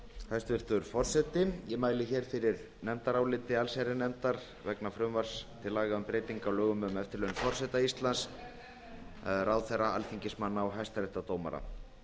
hæstvirtur forseti ég mæli fyrir nefndaráliti allsherjarnefndar vegna frumvarps til laga um breyting á lögum um eftirlaun forseta íslands ráðherra alþingismanna og hæstaréttardómara